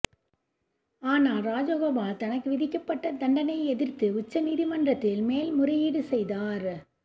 ஆனால் ராஜகோபால் தனக்கு விதிக்கப்பட்ட தண்டனையை எதிர்த்து உச்ச நீதிமன்றத்தில் மேல்முறையீடு செய்தார்